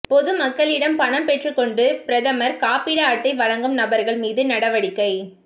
பொதுமக்களிடம் பணம் பெற்றுக் கொண்டு பிரதமா் காப்பீடு அட்டை வழங்கும் நபா்கள் மீது நடவடிக்கை